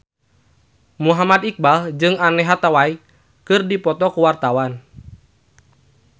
Muhammad Iqbal jeung Anne Hathaway keur dipoto ku wartawan